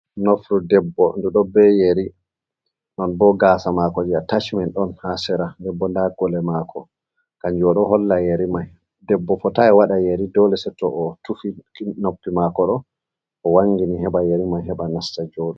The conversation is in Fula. Nofru debbo ɗo be yeri, non bo gasa mako je a tachmen ɗon ha sera debbo nda gole mako, kanjum no ɗo holla yeri mai debbo fotai waɗa yeri dole setto o tufi noppi mako ɗo, o wangini heɓa yeri mai heɓa nasta joɗo.